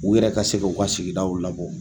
U yɛrɛ ka se k'u ka sigidaw labɔ.